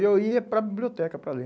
E eu ia para a biblioteca para ler.